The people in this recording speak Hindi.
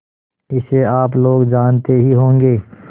इसे आप लोग जानते ही होंगे